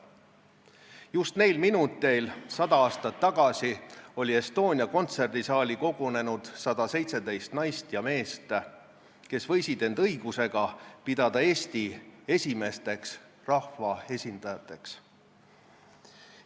Just neil minuteil 100 aastat tagasi oli Estonia kontserdisaali kogunenud 117 naist ja meest, kes võisid end õigusega pidada Eesti esimesteks rahvaesindajateks.